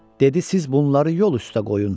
Dedi siz bunları yol üstə qoyun.